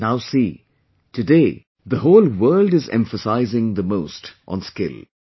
And now see, today, the whole world is emphasizing the most on skill